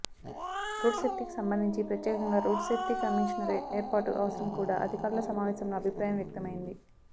road సేఫ్టీకి సంబంధించి ప్రత్యేకంగా రోడ్ సేఫ్టీ కమిషనరేట్ ఏర్పాటు అవసరం కూడా అధికారుల సమావేశంలో అభిప్రాయం వ్యక్తమైంది